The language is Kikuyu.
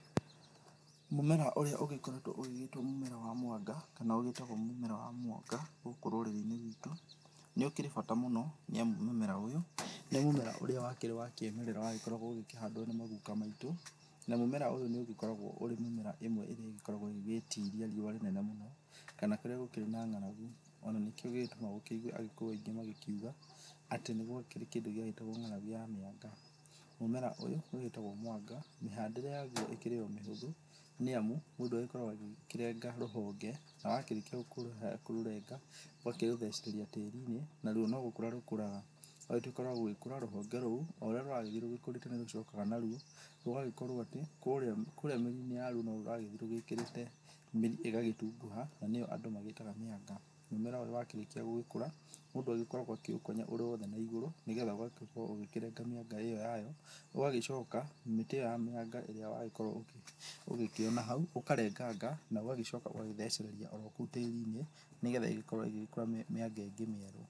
Mũmera ũrĩa ũgĩkoretwo ũgĩgĩtwo mũmera wa mwanga kana ĩgĩtagwo mũmera wa mwanga gũkũ rũrĩrĩ gwĩtũ nĩ ũkĩrĩ bata mũno nĩamu mũmera ũyũ nĩ mũmera ũrĩa wakĩrĩ wa kĩmerera wagĩkoragwo ũgĩkĩhandwo nĩ maguka maitũ, na mũmera ũyũ nĩ ũgĩkoragwo ũrĩ mĩmera ĩmwe ĩrĩa ĩgĩtiria riũwa rĩnene mũno kana rĩrĩa gũkĩrĩ na ng'aragu. Ona nĩkwo gĩgĩtũmaga ũĩgue agĩkũyũ aingĩ magĩkĩuga atĩ nĩ gwakĩrĩ kĩndũ gĩagĩtagwo ng'aragu ya mĩanga. Mũmera ũyũ ũgĩtagwo mwanga mĩhandĩre yaguo ĩkĩrĩ omĩhũthũ nĩamu mũndũ agĩkoragwo ũkĩrenga rũhonge, na wakĩrĩkia kũrũrenga ũgakĩrũthecereria tĩri-inĩ naruo no gũkũra rũkũraga. Rwagĩtuĩka rwagũkũra rũhonge rũrũ o ũrĩa rũragĩthĩ rũkũrĩte nĩrũcokaga naruo rũgagĩkorwo atĩ kũrĩa mĩri-inĩ yaruo norũragĩthĩ rwĩkĩrĩte mĩrĩ ĩgagĩtunguha na nĩyo andũ magĩtaga mĩanga. Mũmera ũyũ wakĩrĩkia gũgĩkũra mũndũ agĩkoragwo akĩũkonya ũrĩ wothe na igũrũ nĩgetha ũgakorwo ũgĩkĩrenga mĩanga ĩyo yayo ũgagĩcoka mĩtĩ ĩyo ya mĩanga ĩrĩa wagĩkorwo ũgĩkĩona hau ũkarenganga na ũgagĩcoka ũgathecereria orokũu tĩri-inĩ nĩgetha ĩgĩkorwo ĩgĩkũra mĩanga ĩngĩ mĩerũ.